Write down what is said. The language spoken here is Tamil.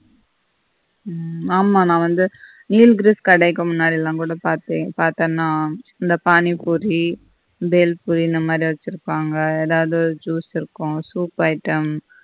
ஆமா நான் வந்து கடைக்கும் பார்த்தான்னா இந்த பாணி பூரி பூரி இந்த மாதி வெச்சிருப்பாங்க எதாவது juice இருக்கும் soup item